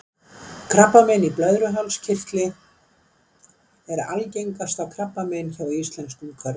Krabbamein í blöðruhálskirtli er algengasta krabbamein hjá íslenskum körlum.